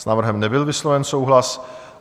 S návrhem nebyl vysloven souhlas.